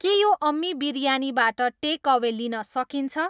के यो अम्मी बिरयानीबाट टेकअवे लिन सकिन्छ